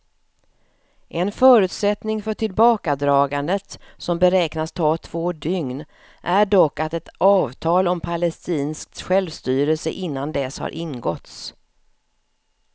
En förutsättning för tillbakadragandet, som beräknas ta två dygn, är dock att ett avtal om palestinskt självstyre innan dess har ingåtts.